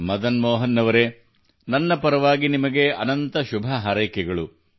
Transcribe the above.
ಮದನ್ ಮೋಹನ್ ಅವರೇ ನನ್ನ ಪರವಾಗಿ ನಿಮಗೆ ಅನಂತ ಶುಭ ಹಾರೈಕೆಗಳು